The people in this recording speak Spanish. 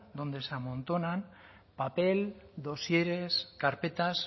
donde se amontonan papel dosieres carpetas